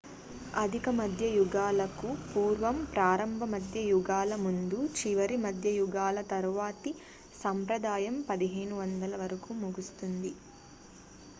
అధిక మధ్య యుగాలకు పూర్వం ప్రారంభ మధ్య యుగాల ముందు చివరి మధ్య యుగాల తరువాతి సంప్రదాయం 1500 వరకు ముగుస్తుంది